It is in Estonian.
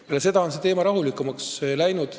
Peale seda on selle teemaga rahulikumaks läinud.